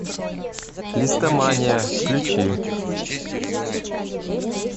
листомания включи